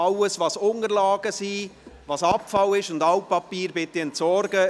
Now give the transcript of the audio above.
Alles, was Unterlagen, Abfall und Altpapier ist, bitte ich Sie zu entsorgen.